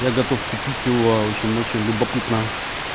я готов купить его в общем очень любопытно